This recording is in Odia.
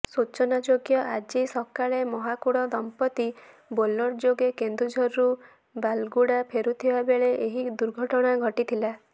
ସୂଚନାଯୋଗ୍ୟ ଆଜି ସକାଳେ ମହାକୁଡ଼ ଦମ୍ପତି ବୋଲେରୋ ଯୋଗେ କେନ୍ଦୁଝରରୁ ବାଲାଗୁଡ଼ା ଫେରୁଥିବା ବେଳେ ଏହି ଦୁର୍ଘଟଣା ଘଟିଥିଲା